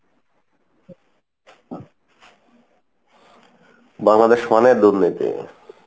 বাংলাদেশ মানে দুর্নীতি,